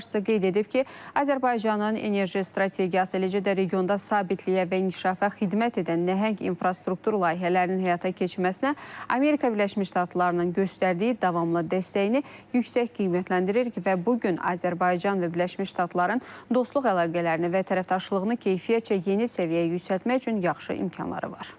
Dövlət başçısı qeyd edib ki, Azərbaycanın enerji strategiyası, eləcə də regionda sabitliyə və inkişafa xidmət edən nəhəng infrastruktur layihələrinin həyata keçirilməsinə Amerika Birləşmiş Ştatlarının göstərdiyi davamlı dəstəyini yüksək qiymətləndiririk və bu gün Azərbaycan və Birləşmiş Ştatların dostluq əlaqələrini və tərəfdaşlığını keyfiyyətcə yeni səviyyəyə yüksəltmək üçün yaxşı imkanları var.